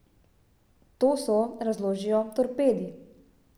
To so, razložijo, torpedi.